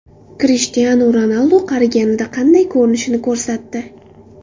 Krishtianu Ronaldu qariganida qanday ko‘rinishini ko‘rsatdi.